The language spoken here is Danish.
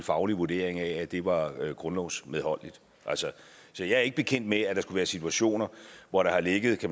faglig vurdering af at det var grundlovsmedholdeligt så jeg er ikke bekendt med at der være situationer hvor der har ligget